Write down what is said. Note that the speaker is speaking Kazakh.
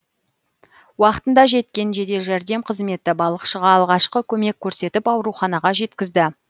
уақытында жеткен жедел жәрдем қызметі балықшыға алғашқы көмек көрсетіп ауруханаға жеткізді